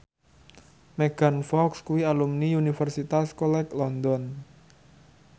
Megan Fox kuwi alumni Universitas College London